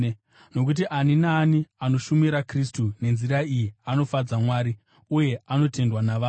nokuti ani naani anoshumira Kristu nenzira iyi anofadza Mwari, uye anotendwa navanhu.